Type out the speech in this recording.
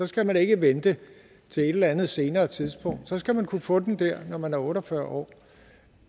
skal man ikke vente til et eller andet senere tidspunkt så skal man kunne få den dér når man er otte og fyrre år